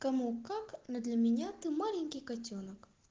кому как но для меня ты маленький котёнок